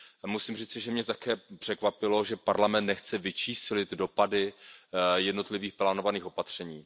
Musím říci, že mě také překvapilo, že Parlament nechce vyčíslit dopady jednotlivých plánovaných opatření.